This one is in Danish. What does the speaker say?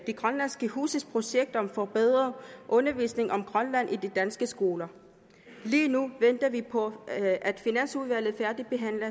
grønlandske huse projektet om forbedret undervisning om grønland i de danske skoler lige nu venter vi på at at finansudvalget færdigbehandler